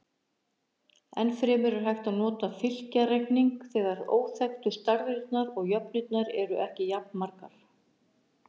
Enn fremur er hægt að nota fylkjareikning þegar óþekktu stærðirnar og jöfnurnar eru ekki jafnmargar.